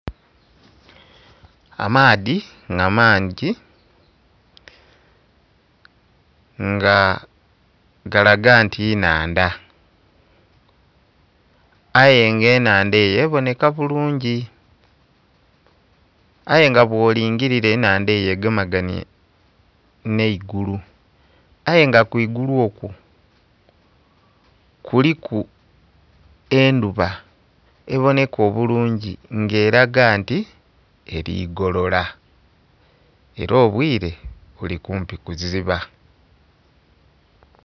Amaadhi nga mangi nga galaga nti nnhandha aye nga enhandha eyo ebonheka bulungi aye nga bwo lilngirira enhandha eyo egemagainhe nhe'guulu aye nga kwigulu okwo kuliku endhuba ebonheka obulungi nga eraga nti eri golola era obwire bili kumpi kuziba.